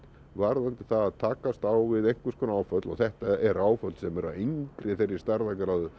varðandi það að takast á við einhvers konar áföll og þetta eru áföll sem eru af engri þeirri stærðargráðu